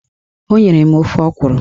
O nyere m ofe ọkwụrụ